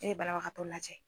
E ye banabagatɔ lajɛ.